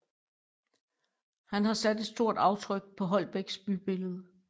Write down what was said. Han har sat et stort aftryk på Holbæks bybillede